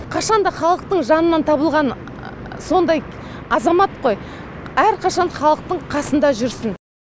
қашанда халықтың жанынан табылған сондай азамат қой әрқашан халықтың қасында жүрсін